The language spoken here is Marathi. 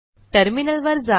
टर्मिनलवर जा